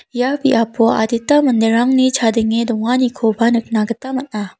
ia biapo adita manderangni chadenge donganikoba nikna gita man·a.